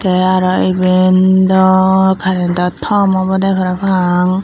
tay araw iben daw karento tom awbawde parapang.